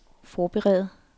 forberede